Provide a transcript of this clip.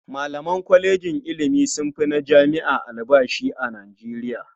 Malaman kwalejin ilimi sun fi na jami'a albashi a Nijeriya.